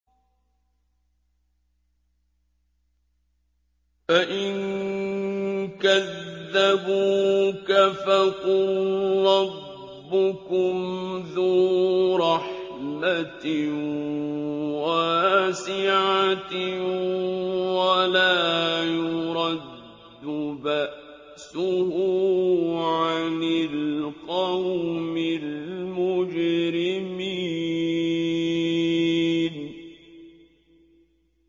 فَإِن كَذَّبُوكَ فَقُل رَّبُّكُمْ ذُو رَحْمَةٍ وَاسِعَةٍ وَلَا يُرَدُّ بَأْسُهُ عَنِ الْقَوْمِ الْمُجْرِمِينَ